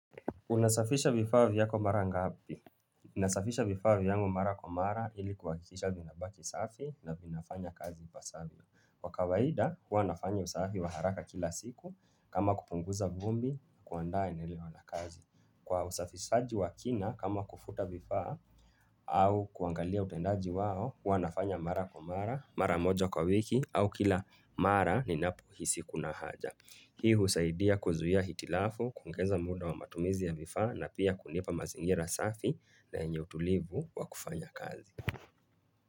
Unasafisha vifaa vyako mara ngapi? Nasafisha vifaa vyangu mara kwa mara ili kuhakikisha vinabaki safi na vinafanya kazi ipasavyo. Kwa kawaida, huwa nafanya usafi wa haraka kila siku, kama kupunguza vumbi kuandaa eneo la kazi. Kwa usafisaji wa kina, kama kufuta vifaa au kuangalia utendaji wao, huwa nafanya mara kwa mara, mara moja kwa wiki au kila mara ninapohisi kuna haja. Hii husaidia kuzuia hitilafu, kuongeza muda wa matumizi ya vifaa na pia kunipa mazingira safi na enye utulivu wa kufanya kazi.